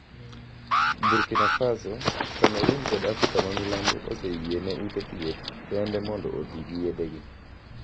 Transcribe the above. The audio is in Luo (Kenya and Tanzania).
"Burkina Faso, Cameroon kod Afrika ma Milambo oseyiene ute thieth kende mondo oti gi yethegi.